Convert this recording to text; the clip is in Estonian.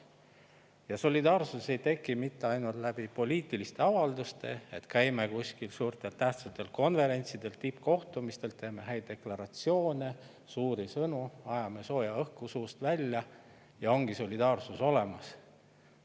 Aga solidaarsus ei teki mitte ainult läbi poliitiliste avalduste, nii et me käime kuskil suurtel tähtsatel konverentsidel ja tippkohtumistel, teeme häid deklaratsioone, suuri sõnu, ajame sooja õhku suust välja, ja ongi solidaarsus olemas.